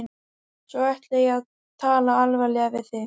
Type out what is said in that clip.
Svo ætla ég að tala alvarlega við þig.